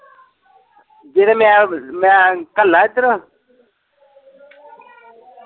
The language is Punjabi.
ਨਈ ਤਾਂ ਮੈਂ, ਮੈਂ ਘਲਾ ਇੱਧਰ।